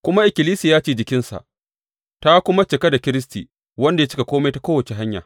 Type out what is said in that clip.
Kuma ikkilisiya ce jikinsa; ta kuma cika da Kiristi, wanda ya cika kome ta kowace hanya.